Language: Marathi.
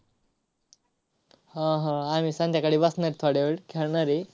हा, हा. आम्ही संध्याकाळी बसणार आहे, थोडा वेळ खेळणार आहे.